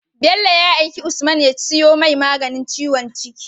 Bello ya aiki usman ya siyo mai maganin ciwon jiki